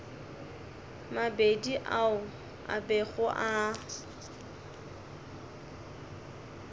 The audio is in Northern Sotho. mabedi ao a bego a